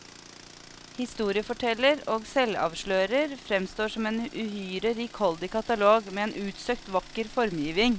Historieforteller og selvavslører fremstår som en uhyre rikholdig katalog, med en utsøkt vakker formgiving.